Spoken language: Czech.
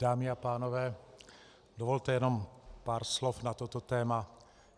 Dámy a pánové, dovolte jenom pár slov na toto téma.